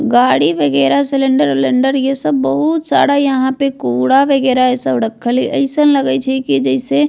गाड़ी वगैरा सिलिंडर उलेण्डर ये सब बहुत सारा यहाँ पे कुरा वगैरा ये सब रखल हेय एसन लएगय छै की जैसे --